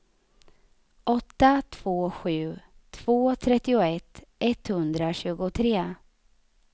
åtta två sju två trettioett etthundratjugotre